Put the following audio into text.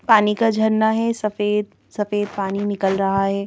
पानी का झरना है सफेद सफेद पानी निकल रहा है।